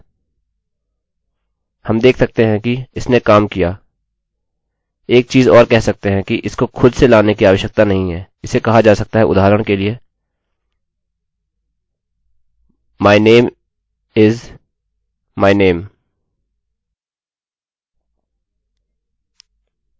हम देख सकते हैं कि इसने काम किया एक चीज़ और कह सकते हैं कि इसको खुद से लाने की आवश्यकता नहीं है इसे कहा जा सकता है उदाहरण के लिए my name is my name